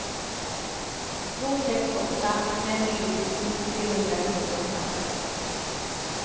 två sex åtta fem tjugosju trehundrasextioåtta